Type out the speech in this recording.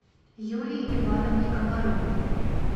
юлии ивановне комаровой